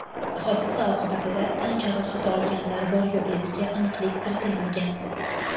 Hodisa oqibatida tan jarohati olganlar bor-yo‘qligiga aniqlik kiritilmagan.